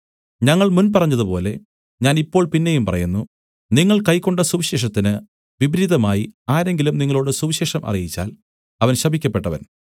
ഞങ്ങൾ മുൻപറഞ്ഞതുപോലെ ഞാൻ ഇപ്പോൾ പിന്നെയും പറയുന്നു നിങ്ങൾ കൈക്കൊണ്ട സുവിശേഷത്തിന് വിപരീതമായി ആരെങ്കിലും നിങ്ങളോടു സുവിശേഷം അറിയിച്ചാൽ അവൻ ശപിക്കപ്പെട്ടവൻ